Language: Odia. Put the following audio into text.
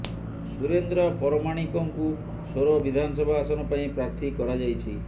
ସୁରେନ୍ଦ୍ର ପରମାଣିକଙ୍କୁ ସୋର ବିଧାନସଭା ଆସନ ପାଇଁ ପ୍ରାର୍ଥୀ କରାଯାଇଛି